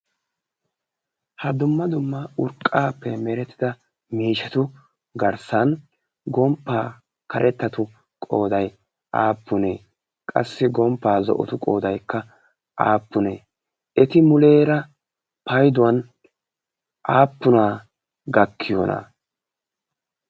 ha dumma dumma urqqaappe merettida miishatu garssan gomppaa karettatu qooday aappunee qassi gomppaa zo'otu qoodaikka aappunee eti muleera payduwan aappunaa gakkiyoona?